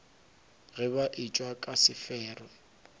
ge ba etšwa ka sefero